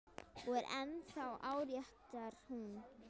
Og er ennþá áréttar hún.